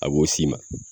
A b'o s'i ma